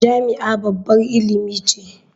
Jami'a babbar ilimi ce.